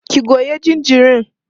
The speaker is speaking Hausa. ki Goya jinjirin!